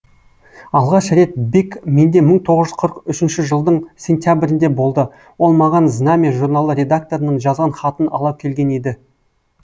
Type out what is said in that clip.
алғаш рет бек менде мың тоғыз жүз қырық үшінші жылдың сентябрінде болды ол маған знамя журналы редакторының жазған хатын ала келген еді